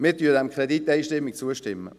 Wir stimmen dem Kredit einstimmig zu.